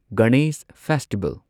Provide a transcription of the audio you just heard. Ganesh festival